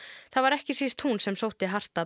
það var ekki síst hún sem sótti hart að